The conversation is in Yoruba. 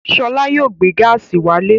Ṣọlá yóò gbé gáásì wálé.